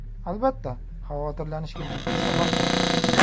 Albatta, xavotirlanishga jiddiy sabab bor.